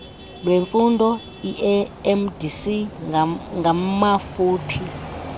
lwemfundo iiemdc ngamafuphi